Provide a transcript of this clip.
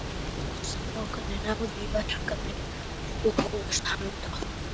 Strákarnir náðu í verkfæri og hófust handa.